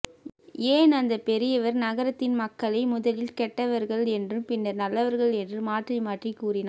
ஏன் அந்த பெரியவர் நகரத்தின் மக்களை முதலில் கெட்டவர்கள் என்றும் பின்னர் நல்லவர்கள் என்றும் மாற்றிமாற்றி கூறினார்